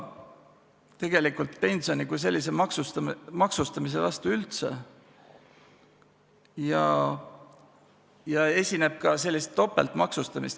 ... meie oleme ka pensioni kui sellise maksustamise vastu üldse ja esineb ka sellist topeltmaksustamist.